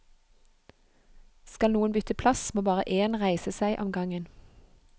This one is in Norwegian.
Skal noen bytte plass, må bare én reise seg om gangen.